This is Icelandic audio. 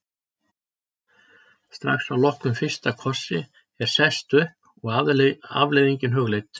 Strax að loknum fyrsta kossi er sest upp og afleiðingin hugleidd.